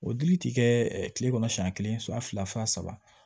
O dili ti kɛ ɛ kile kɔnɔ siɲɛ kelen siɲɛ fila fa saba